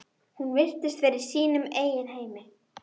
Hún virtist vera í sínum eigin heimi.